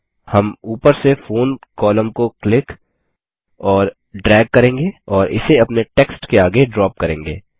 हम ऊपर से फोन कोलम्न को क्लिक और ड्रैग करेंगे और इसे अपने टेक्स्ट के आगे ड्रॉप करेंगे